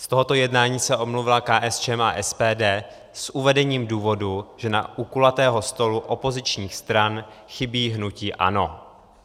Z tohoto jednání se omluvila KSČM a SPD s uvedením důvodu, že u kulatého stolu opozičních stran chybí hnutí ANO.